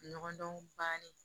Ɲɔgɔndɔn bannen